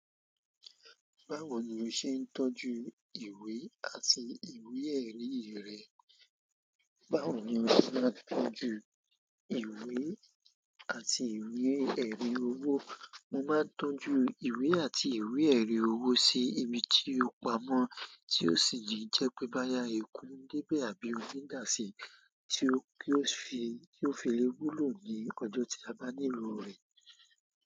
Báwo ni o ṣe ń tọ́jú ìwé àti ìwé-ẹ̀rí rẹ? Báwo ni o ṣe máa ń tọ́jú ìwé àti ìwé-ẹ̀rí owó? Mo máa tọ́jú ìwé àti ìwé ẹ̀rí owó sì ibi tí ó pa mọ, tí ò sì ní jẹ́ pé bóyá eku ń débẹ àbí omi dà si. Tí yóò fi le wúlò ní ọjọ́ tá bá nílò rẹ.